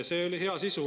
See oli hea sisu.